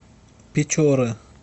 печоры